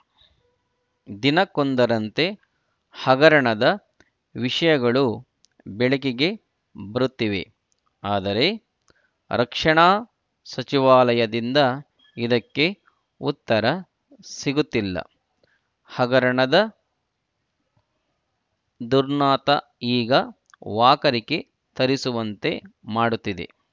ದಿನಕ್ಕೊಂದರಂತೆ ಹಗರಣದ ವಿಷಯಗಳು ಬೆಳಕಿಗೆ ಬರುತ್ತಿವೆ ಆದರೆ ರಕ್ಷಣಾ ಸಚಿವಾಲಯದಿಂದ ಇದಕ್ಕೆ ಉತ್ತರ ಸಿಗುತ್ತಿಲ್ಲ ಹಗರಣದ ದುರ್ನಾತ ಈಗ ವಾಕರಿಕೆ ತರಿಸುವಂತೆ ಮಾಡುತ್ತಿದೆ